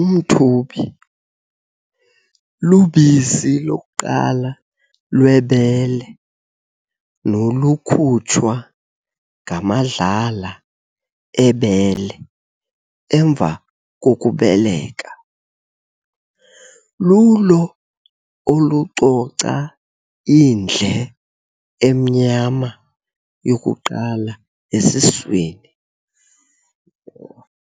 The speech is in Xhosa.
Umthubi, lubisi lokuqala lwebele nolukhutshwa ngamadlala ebele emva kokubeleka, lulo olucoca indle emnyama yokuqala esiswini.